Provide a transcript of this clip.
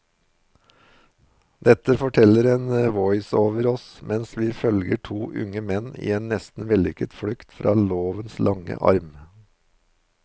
Dette forteller en voiceover oss mens vi følger to unge menn i en nesten vellykket flukt fra lovens lange arm.